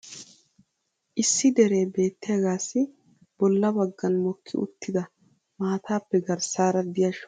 issi deree beetiyaagaassi bola bagan mokki uttida maataappe garssaara diya shooqay duge goyetoogaassi gaasoy aybee? qassi i awa biitaa goshshaa oosoo?